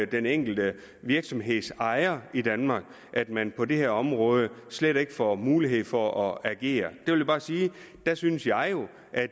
den enkelte virksomhedsejer i danmark at man på det her område slet ikke får mulighed for at agere der synes jeg jo at